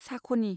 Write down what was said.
साख'नि